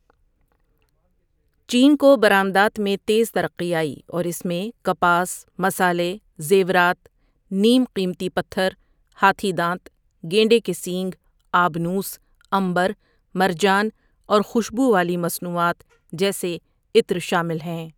چین کو برآمدات میں تیز ترقی آئی اور اس میں کپاس، مصالحے، زیورات، نیم قیمتی پتھر، ہاتھی دانت، گینڈے کے سینگ، آبنوس، عنبر، مرجان اور خوشبو والی مصنوعات جیسے عطر شامل ہیں۔